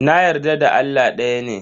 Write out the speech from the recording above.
Na yarda Allah daya ne.